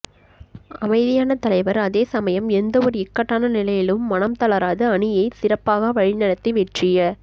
அமைதியான தலைவர் அதே சமயம் எந்தவொரு இக்கட்டான நிலையிலும் மனம் தளராது அணியை சிறப்பாக வழிநடத்தி வெற்றிய